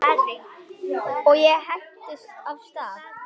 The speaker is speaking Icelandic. Og ég hentist af stað.